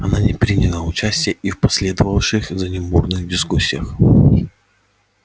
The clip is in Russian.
она не приняла участия и в последовавших за ним бурных дискуссиях